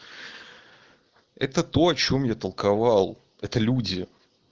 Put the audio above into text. это то о чем я толковал это люди